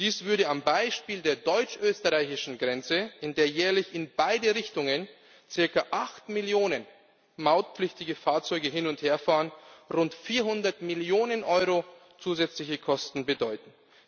Dies würde am Beispiel der deutsch österreichischen Grenze, an der jährlich in beide Richtungen circa 8 Millionen mautpflichtige Fahrzeuge hin und her fahren, rund 400 Millionen Euro zusätzliche Kosten bedeuten.